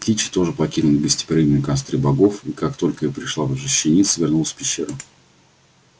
кичи тоже покинула негостеприимные костры богов и как только ей пришла уже щениться вернулась в пещеру